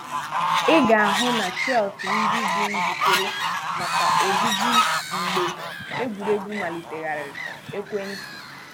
Ị ga-ahụ na shells ndị dị njíkèrè maka ojùji mgbe egwuregwu Malitegharịa ekwèntị.